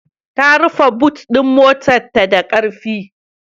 Ta rufe but ɗin motarta da ƙarfi.